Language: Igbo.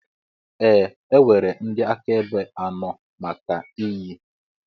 Ee e nwere ndị akaebe anọ maka iyi.